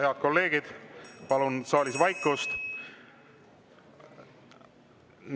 Head kolleegid, palun saalis vaikust!